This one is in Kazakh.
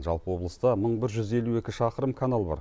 жалпы облыста мың бір жүз елу екі шақырым канал бар